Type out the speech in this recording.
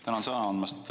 Tänan sõna andmast!